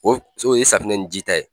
O o ye safinɛ ni ji ta ye